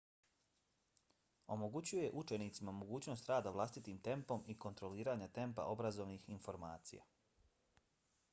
omogućuje učenicima mogućnost rada vlastitim tempom i kontroliranja tempa obrazovnih informacija